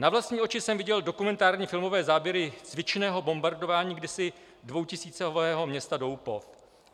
Na vlastní oči jsem viděl dokumentární filmové záběry cvičného bombardování kdysi dvoutisícového města Doupov.